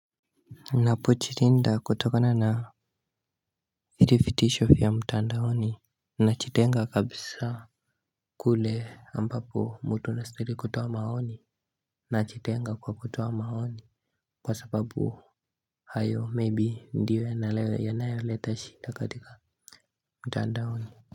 Napochirinda kutokona na hiri fitisho fya mtandaoni. Nachitenga kabisa. Kule ambapo mtu anastahili kutoa maoni nachitenga kwa kutoa maoni. Kwa sababu hayo maybe ndiyo yanalewe yanayoleta shida katika mtandaoni.